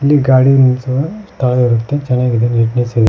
ಇಲ್ಲಿ ಗಾಡಿ ನಿಲ್ಸವ ಸ್ಥಳ ಇರುತ್ತೆ ಚೆನ್ನಾಗಿದೆ ನೀಟ್ನೆಸ್ ಇದೆ.